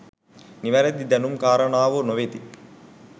නිවැරදි දැනුම් කාරණාවෝ නොවෙති.